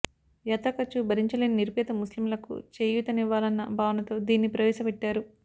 యాత్ర ఖర్చు భరించలేని నిరుపేద ముస్లింలకు చేయూతనివ్వాలన్న భావనతో దీన్ని ప్రవేశపెట్టారు